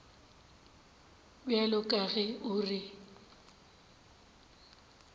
bjalo ka ge o re